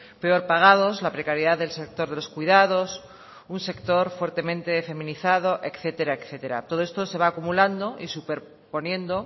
peor pagados la precariedad del sector de los cuidados un sector fuertemente feminizado etcétera etcétera todo esto se va acumulando y superponiendo